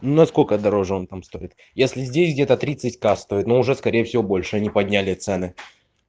насколько дороже он там стоит если здесь где-то тридцать ка стоит но уже скорее всего больше они подняли цены